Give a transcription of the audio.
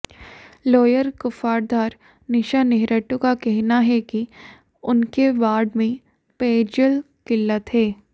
lower Kuftadhar की निशा नेहरटू का कहना है कि उनके वार्ड में पेयजल किल्लत है